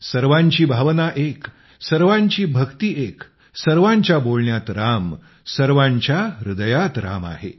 सर्वांची भावना एक सर्वांची भक्ती एक सर्वांच्या बोलण्यात राम सर्वांच्या हृदयात राम आहे